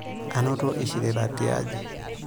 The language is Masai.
Anoto eishirita tiaji.